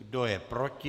Kdo je proti?